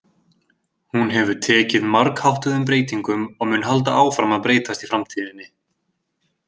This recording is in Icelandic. Hún hefur tekið margháttuðum breytingum og mun halda áfram að breytast í framtíðinni.